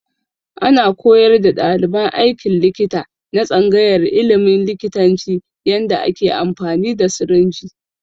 Ana koyar da ɗaliban aikin likita na tsangayar ilimin likitanci yanda ake amfani da sirinji